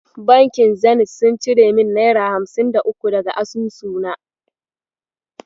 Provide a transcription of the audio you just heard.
Bankin Zenit sun cire min naira hamsin da uku daga asusu na.